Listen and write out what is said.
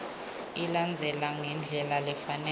ilandzelana ngendlela lefanele